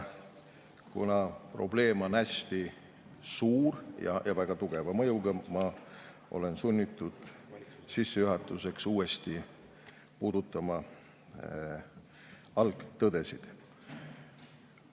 Kuna probleem on hästi suur ja väga tugeva mõjuga, olen ma sunnitud sissejuhatuseks uuesti puudutama algtõdesid.